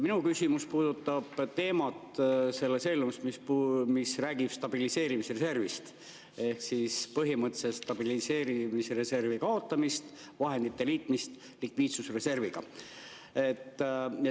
Minu küsimus puudutab stabiliseerimisreservi teemat ehk põhimõtteliselt stabiliseerimisreservi kaotamist, vahendite liitmist likviidsusreserviga.